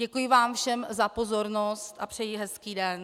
Děkuji vám všem za pozornost a přeji hezký den.